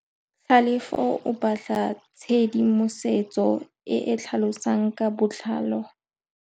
Tlhalefô o batla tshedimosetsô e e tlhalosang ka botlalô.